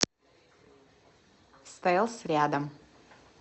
стэлс рядом